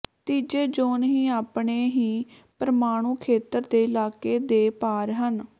ਤੀਜੇ ਜ਼ੋਨ ਹੀ ਆਪਣੇ ਹੀ ਪ੍ਰਮਾਣੂ ਖੇਤਰ ਦੇ ਇਲਾਕੇ ਦੇ ਪਾਰ ਹਨ